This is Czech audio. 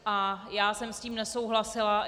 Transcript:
A já jsem s tím nesouhlasila.